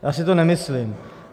Já si to nemyslím.